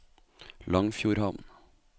Langfjordhamn